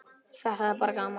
Þetta er bara gaman.